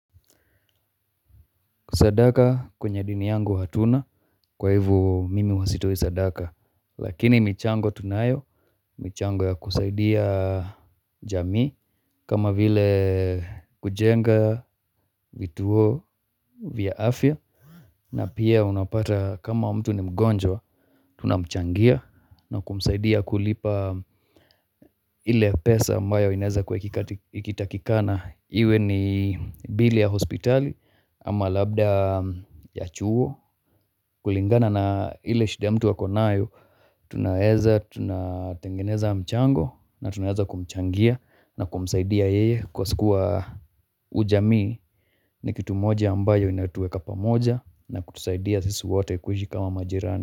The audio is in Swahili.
Sadaka kwenye dini yangu hatuna kwa hivo mimi huwa sitoi sadaka Lakini michango tunayo, michango ya kusaidia jamii kama vile kujenga vituo vya afya na pia unapata kama mtu ni mgonjwa, tunamchangia na kumsaidia kulipa ile pesa ambayo inaeza kuwa ikitakikana Iwe ni bili ya hospitali ama labda ya chuo kulingana na ile shida mtu ako nayo Tunaeza tunatengeneza mchango na tunaeza kumchangia na kumsaidia yeye Kwa siku wa ujamii ni kitu moja ambayo inatueka pamoja na kutusaidia sisi wote kuishi kama majirani.